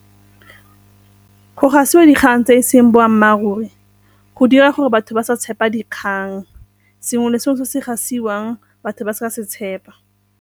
Go gasiwa dikgang tse e seng boammaaruri go dira gore batho ba sa tshepa dikgang, sengwe le sengwe se se gasiwang batho ba sa se tshepa.